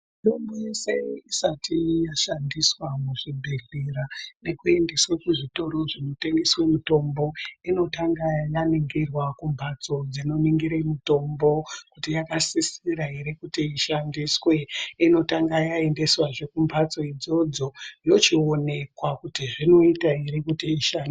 Mitombo yese isati yashandiswa muzvibhadhlera nekuendeswe kuzvitoro zvinotengese mitombo inotanga yaningirwa kumhatso dzinoningire mitombo kuti yakasisisra ere kuti ishandiswe inotanga yaendeswazve kumhatso idzodzo yochionekwa kuti zvinoita ere kuti isha.